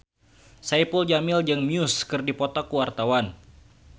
Saipul Jamil jeung Muse keur dipoto ku wartawan